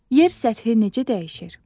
Yer səthi necə dəyişir?